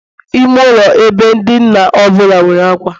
Ime ụlọ ebe dina ọ bụla nwere ákwà